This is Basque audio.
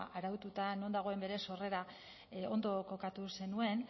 araututa non dagoen bere sorrera ondo kokatu zenuen